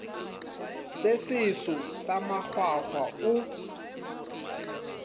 se seso sa makgwakgwa o